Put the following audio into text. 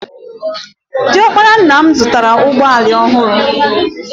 Di ọkpara nna m zụtara ụgbọala ọhụrụ.